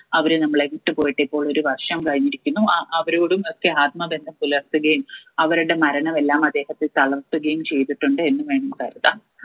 അവര് നമ്മളെ വിട്ടുപോയിട്ട് ഇപ്പോൾ ഒരു വർഷം കഴിഞ്ഞിരിക്കുന്നു അഹ് അവരോടും ഒക്കെ ആത്മബന്ധം പുലർത്തുകയും അവരുടെ മരണം എല്ലാം അദ്ദേഹത്തെ തളർത്തുകയും ചെയ്തിട്ടുണ്ട് എന്ന് വേണം കരുത